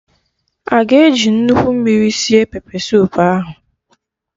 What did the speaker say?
Aga eji nnukwu mmiri sie pepesoup ahụ?